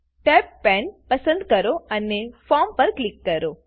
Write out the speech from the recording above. tabbed પાને પસંદ કરો અને ફોર્મ પર ક્લિક કરો